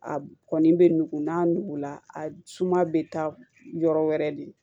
A kɔni bɛ nugu n'a nugula a suma bɛ taa yɔrɔ wɛrɛ de